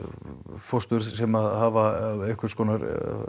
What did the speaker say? fóstur sem hafa einhvers konar